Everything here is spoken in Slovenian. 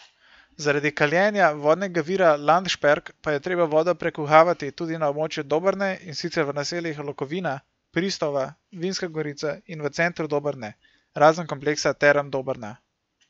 Zaradi kaljenja vodnega vira Landšperk pa je treba vodo prekuhavati tudi na območju Dobrne, in sicer v naseljih Lokovina, Pristova, Vinska gorica in v centru Dobrne, razen kompleksa Term Dobrna.